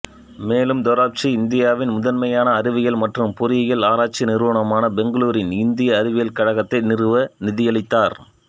மேலும் தோரப்ஜி இந்தியாவின் முதன்மையான அறிவியல் மற்றும் பொறியியல் ஆராய்ச்சி நிறுவனமான பெங்களூரின் இந்திய அறிவியல் கழகத்தை நிறுவ நிதியளித்தார்